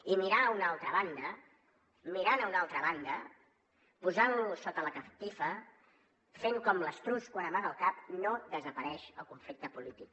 i mirant a una altra banda mirant a una altra banda posant lo sota la catifa fent com l’estruç quan amaga el cap no desapareix el conflicte polític